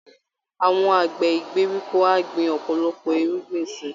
Àwọn àgbẹ̀ ìgbèríko á gbin ọ̀pọ̀lọpọ̀ irúgbìn si